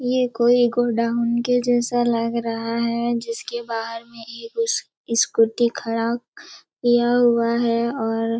ये कोई गोडाउन के जैसा लग रहा है जिसके बाहर में एक स्कू-- स्कूटी खड़ा किया हुआ है और--